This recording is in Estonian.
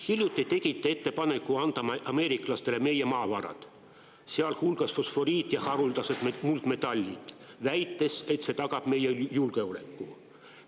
Hiljuti te tegite ettepaneku anda ameeriklastele meie maavarad, sealhulgas fosforiit ja haruldased muldmetallid, väites, et see tagab meie julgeoleku.